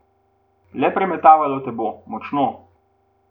Le premetavalo te bo, močno.